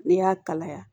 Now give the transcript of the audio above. Ne y'a kalaya